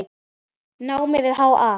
námi við HA.